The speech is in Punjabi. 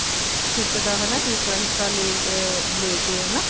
hip ਦਾ ਹਨਾ ਤੀਸਰਾ ਹਿੱਸਾ ਲੇਕੇ ਹਨਾ